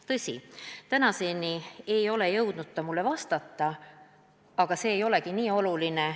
Tõsi, tänaseni ei ole ta jõudnud mulle vastata, aga see ei olegi nii oluline.